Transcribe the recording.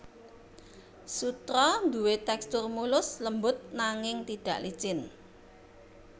Sutra duwé tèkstur mulus lembut nanging tidak licin